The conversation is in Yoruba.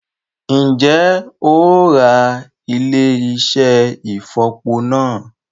Ǹjẹ́ o óò Ra ilé-iṣẹ́ ìfọ̀po náà?